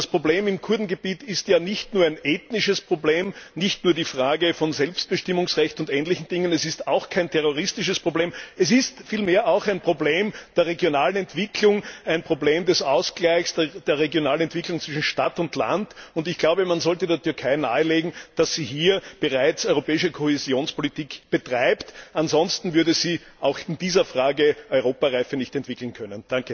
Das Problem im Kurdengebiet ist ja nicht nur ein ethnisches Problem, nicht nur die Frage des Selbstbestimmungsrechts und ähnlicher Dinge, es ist auch kein terroristisches Problem, sondern vielmehr ein Problem der regionalen Entwicklung, ein Problem des Ausgleichs der regionalen Entwicklung zwischen Stadt und Land. Und ich glaube, man sollte der Türkei nahelegen, dass sie hier bereits europäische Kohäsionspolitik betreibt. Ansonsten wird sie auch in dieser Frage keine Europareife entwickeln können.